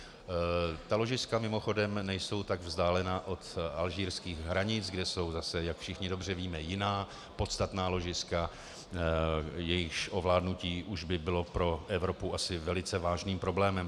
Ta ložiska mimochodem nejsou tak vzdálená od alžírských hranic, kde jsou zase, jak všichni dobře víme, jiná podstatná ložiska, jejichž ovládnutí už by bylo pro Evropu asi velice vážným problémem.